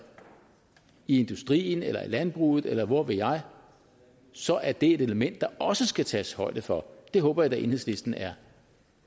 i industrien eller i landbruget eller hvor ved jeg så er det et element der også skal tages højde for det håber jeg da enhedslisten er